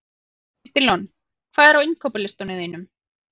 Edilon, hvað er á innkaupalistanum mínum?